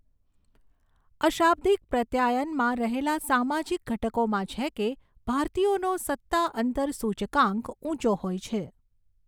અશાબ્દિક પ્રત્યાયનમાં રહેલા સામાજિક ઘટકોમાં છે કે, ભારતીયોનો સત્તા અંતર સૂચકાંક ઊંચો હોય છે.